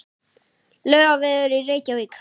Laugavegur í Reykjavík.